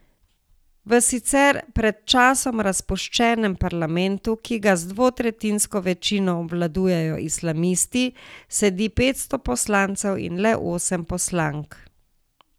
V sicer pred časom razpuščenem parlamentu, ki ga z dvotretjinsko večino obvladujejo islamisti, sedi petsto poslancev in le osem poslank.